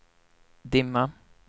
dimma